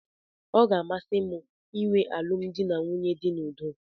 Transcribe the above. ọ ga-amasị m ịnwe alụmdi na nwunye dị n'udo